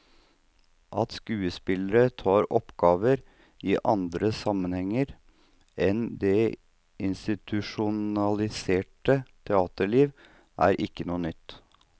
At skuespillere tar oppgaver i andre sammenhenger enn det institusjonaliserte teaterliv, er ikke noe nytt.